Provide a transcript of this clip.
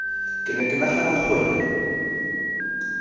ke ne ke nagana gore